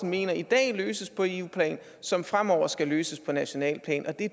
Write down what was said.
mener i dag løses på eu plan som fremover skal løses på nationalt plan og det